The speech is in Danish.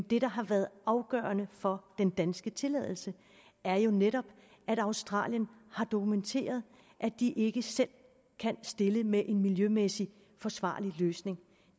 det der har været afgørende for den danske tilladelse er jo netop at australien har dokumenteret at de ikke selv kan stille med en miljømæssigt forsvarlig løsning